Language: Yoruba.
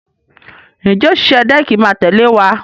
Ǹjẹ́ òṣìṣẹ́ dẹ́ẹ̀kì máa tẹ̀lé wa?